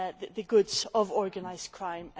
the goods of organised crime.